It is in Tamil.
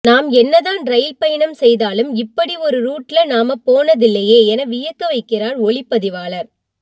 நாம் என்னதான் ரயில் பயணம் செய்தாலும் இப்படி ஒரு ரூட்ல நாம போனதில்லையே என வியக்க வைக்கிறார் ஒளிப்பதிவாளர்